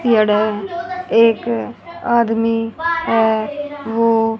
एक आदमी है वो--